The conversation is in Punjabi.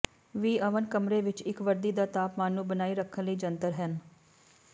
ਵੀ ਓਵਨ ਕਮਰੇ ਵਿੱਚ ਇੱਕ ਵਰਦੀ ਦਾ ਤਾਪਮਾਨ ਨੂੰ ਬਣਾਈ ਰੱਖਣ ਲਈ ਜੰਤਰ ਹਨ